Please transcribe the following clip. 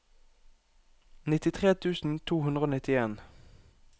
nittitre tusen to hundre og nittien